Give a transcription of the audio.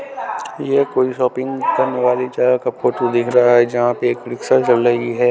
यह कोई शॉपिंग करने वाली जगह का फोटो दिख रहा है जहाँ पे एक रिक्शा चल रही है।